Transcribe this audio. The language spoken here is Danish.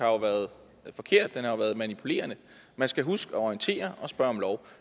været forkert den har været manipulerende man skal huske at orientere og spørge om lov